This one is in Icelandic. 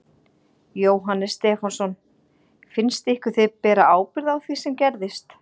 Jóhannes Stefánsson: Finnst ykkur þið bera ábyrgð á því sem gerðist?